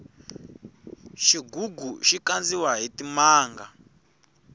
xigugu xi kandiwa hi timanga